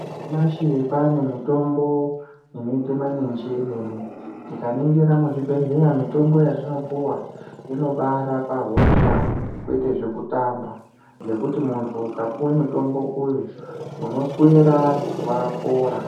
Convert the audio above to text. Nyamashi kwaane mitombo inoite maninji emene. Tikaningira muzvibhedhlera, mitombo yatinopiwa inobaarapa hosha kwete zvekutamba ngekuti muntu ukapiwe mutombo uyu unoswera wapora.